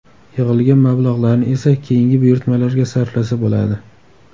Yig‘ilgan mablag‘larni esa keyingi buyurtmalarga sarflasa bo‘ladi.